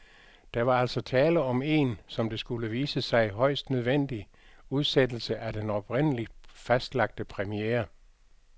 Der var altså tale om en, som det skulle vise sig, højst nødvendig udsættelse af den oprindeligt fastlagte premiere.